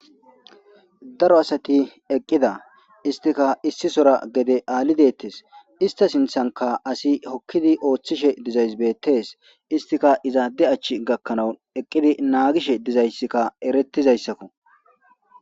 Daro asati eqqida istika issisora gede aalidettes ista sinthanka asi hokkidi ooththishe dizays beettees istika izaade achch gakkanawu eqqidi naagishe dizayssikka erettizayssakko.